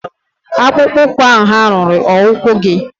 akpụkpọ ụkwụ ahụ hà ruru ụkwụ gị?